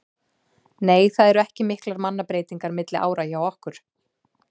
Nei það eru ekki miklar mannabreytingar milli ára hjá okkur.